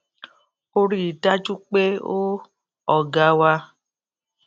ó rí i dájú pé ó ọga wa